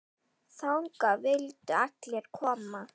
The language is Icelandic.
Þangað vildu allir koma.